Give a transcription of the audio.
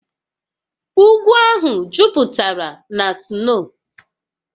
Ugwu ahụ jupụtara na sno